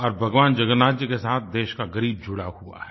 और भगवान जगन्नाथ जी के साथ देश का ग़रीब जुड़ा हुआ है